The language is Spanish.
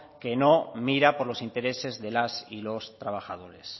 que no mira por los intereses de las y los trabajadores